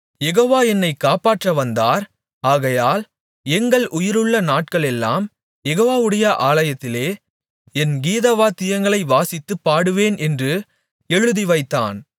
யெகோவா என்னை காப்பாற்ற வந்தார் ஆகையால் எங்கள் உயிருள்ள நாட்களெல்லாம் யெகோவாவுடைய ஆலயத்திலே என் கீதவாத்தியங்களை வாசித்துப் பாடுவோம் என்று எழுதிவைத்தான்